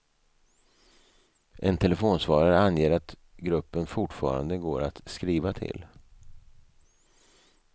En telefonsvarare anger att gruppen fortfarande går att skriva till.